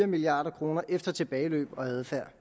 milliard kroner efter tilbageløb og adfærd